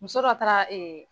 Muso dɔ taara